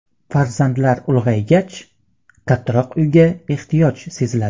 Farzandlar ulg‘aygach, kattaroq uyga ehtiyoj seziladi.